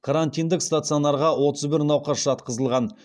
карантиндік стационарға отыз бір науқас жатқызылған